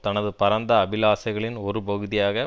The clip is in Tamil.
தனது பரந்த அபிலாசைகளின் ஒரு பகுதியாக